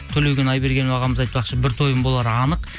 төлеген айбергенов ағамыз айтпақшы бір тойым болары анық